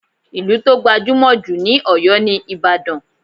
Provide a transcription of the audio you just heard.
Ìlú tó gbajúmọ̀ jù ní Oyo ni Ìbàdàn.